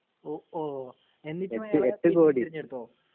ഓ ഓ എന്നിട്ടും അയാളെ തിരഞ്ഞെടുത്തോ